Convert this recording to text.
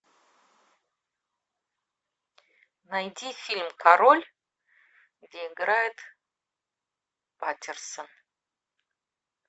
найти фильм король где играет паттерсон